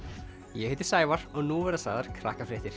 ég heiti Sævar og nú verða sagðar